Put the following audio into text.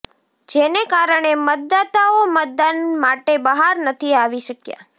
જેને કારણે મતદાતાઓ મતદાન માટે બહાર નથી આવી શક્યા